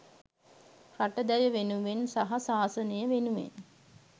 රට දැය වෙනුවෙන් සහ ශාසනය වෙනුවෙන්